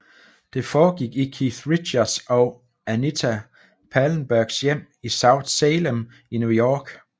Det forgik i Keith Richards og Anita Pallenbergs hjem i South Salem i New York